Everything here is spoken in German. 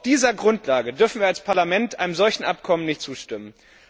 Auf dieser Grundlage dürfen wir als Parlament einem solchen Abkommen nicht zustimmen.